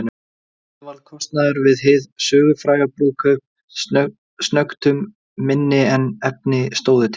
Þannig varð kostnaður við hið sögufræga brúðkaup snöggtum minni en efni stóðu til.